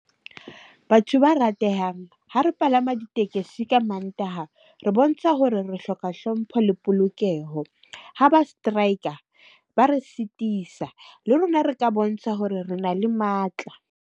Batho ba ratehang ha re palama ditekesi. Ka Mantaha re bontsha hore re hloka hlompho le polokeho. Ha ba strike-a ba re sitisa. Le rona re ka bontsha hore re na le matla.